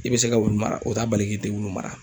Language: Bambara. I be se ka wulu mara, o ta bali k'i te wulu mara.